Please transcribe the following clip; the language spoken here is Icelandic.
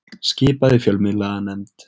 Skipað í fjölmiðlanefnd